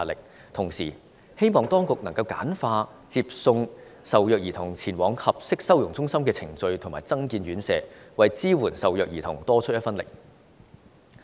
與此同時，我希望當局簡化接送受虐兒童前往合適收容中心的程序，並增建院舍，為支援受虐兒童多出一分力。